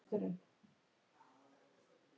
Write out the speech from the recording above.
Vertu sæl, elsku Kristín mín.